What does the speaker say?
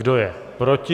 Kdo je proti?